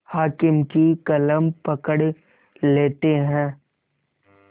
हाकिम की कलम पकड़ लेते हैं